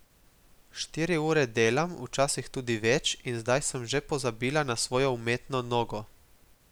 Štiri ure delam, včasih tudi več, in zdaj sem že pozabila na svojo umetno nogo.